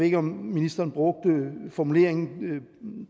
ikke om ministeren brugte formuleringen